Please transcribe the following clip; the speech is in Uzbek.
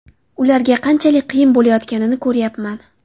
Ularga qanchalik qiyin bo‘layotganini ko‘ryapman.